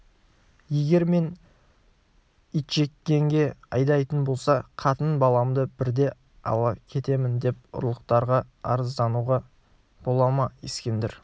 егер мені итжеккенге айдайтын болса қатын-баламды бірте ала кетемін деп ұлықтарға арыздануға бола ма ескендір